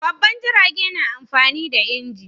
Babban jirage na amfani da inji